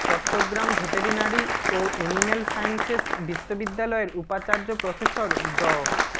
Chittagong veterinary ও animal sciences বিশ্ববিদ্যালয়ের উপাচার্য প্রফেসর ড